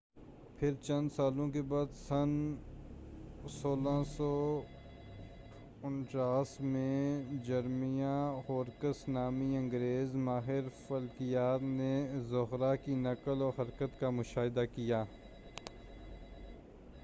پھر، چند سالوں کے بعد، سن 1639 میں، جرمیاہ ہورکس نامی انگریز ماہر فلکیات نے زہرہ کی نقل و حرکت کا مشاہدہ کیا۔